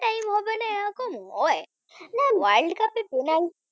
worldcup এ penalty